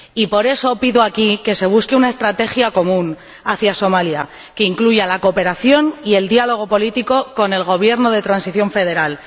Y por eso pido aquí que se busque una estrategia común frente a Somalia, que incluya la cooperación y el diálogo político con el Gobierno de transición federal.